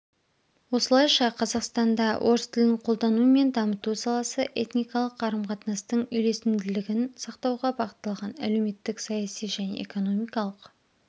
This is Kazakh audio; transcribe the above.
осылайша қазақстанда орыс тілін қолдану мен дамыту саласы этникалық қарым-қатынастың үйлесімділігін сақтауға бағытталған әлеуметтік-саяси және экономикалық